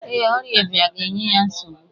Ee, ọrịa ịba ga-enye ya nsogbu.